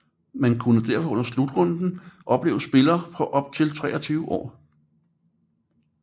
Man kunne derfor under slutrunden opleve spillere på op til 23 år